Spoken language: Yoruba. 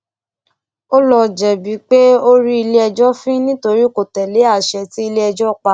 o ìó jẹbi pé o rí iléẹjọ fín nítorí kò tẹlé àṣẹ tí iléẹjọ pa